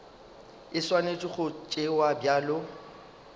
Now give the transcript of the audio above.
e swanetše go tšewa bjalo